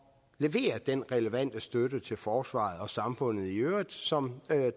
levere den relevante støtte til forsvaret og samfundet i øvrigt som